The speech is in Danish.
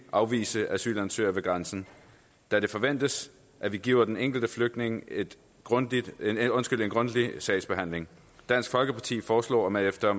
afvise asylansøgere ved grænsen da det forventes at vi giver den enkelte flygtning en grundig sagsbehandling dansk folkeparti foreslår at man efter